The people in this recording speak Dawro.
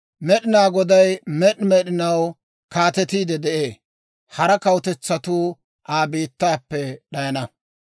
Med'inaa Goday med'i med'inaw kaatetiide de'ee; hara kawutetsatuu Aa biittaappe d'ayana.